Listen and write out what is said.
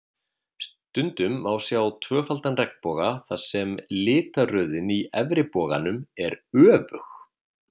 Stundum má sjá tvöfaldan regnboga þar sem litaröðin í efri boganum er öfug.